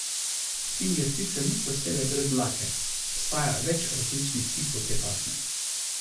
Sfinge sicer niso vselej brez dlake, obstaja več različnih tipov te pasme.